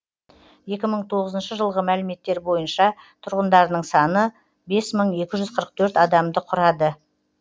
екі мың тоғызыншы жылғы мәліметтер бойынша тұрғындарының саны бес мың екі жүз қырық төрт адамды құрады